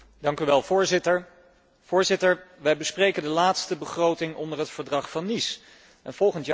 Voorzitter, wij bespreken de laatste begroting onder het Verdrag van Nice en volgend jaar zal het echt anders zijn.